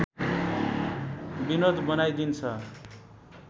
विनोद बनाइदिन्छ